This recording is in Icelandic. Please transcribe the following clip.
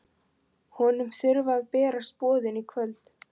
Honum þurfa að berast boðin í kvöld.